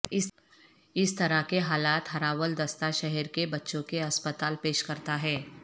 اس طرح کے حالات ہراول دستہ شہر کے بچوں کے ہسپتال پیش کرتا ہے